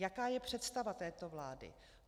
Jaká je představa této vlády?